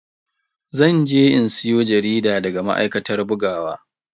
Zan je in siyo jarida daga ma'aikatar bugawa.